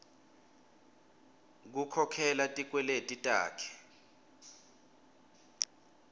kukhokhela tikweleti takhe